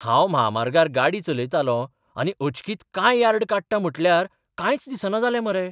हांव म्हामार्गार गाडी चलयतालों आनी अचकीत कांय यार्ड काडटा म्हटल्यार कांयच दिसना जालें मरे.